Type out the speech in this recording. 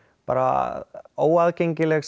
bara óaðgengileg